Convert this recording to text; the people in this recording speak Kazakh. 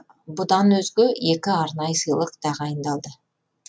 бұдан өзге екі арнайы сыйлық тағайындалды